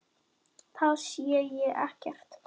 Það sé ekkert að.